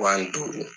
Wa ni duuru